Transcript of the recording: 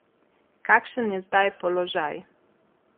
Kakšen je zdaj položaj?